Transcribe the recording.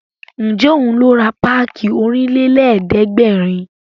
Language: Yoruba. Ǹjẹ́ òun ló ra páàkì Ọ̀rìnlélẹ̀ẹ́dẹ́gbèrin